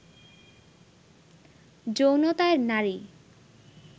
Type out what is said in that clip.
যৌনতায় নারী